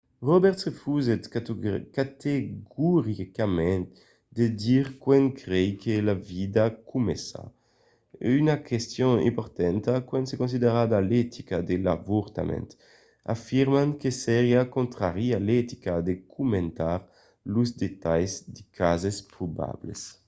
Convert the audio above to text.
roberts refusèt categoricament de dire quand crei que la vida comença una question importanta quand se considera l’etica de l’avortament afirmant que seriá contrari a l’etica de comentar los detalhs de cases probables